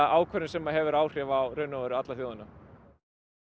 ákvörðun sem hefur áhrif á alla þjóðina